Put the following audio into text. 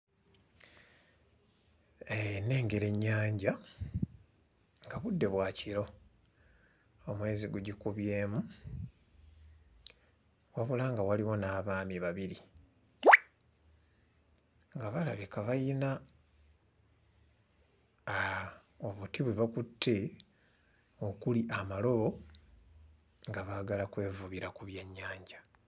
Nengera ennyanja nga budde bwa kiro, omwezi gugikubyemu. Wabula nga waliwo n'abaami babiri nga balabika bayina aah obuti bwe bakutte okuli amalabo nga baagala kwevubira ku byennyanja.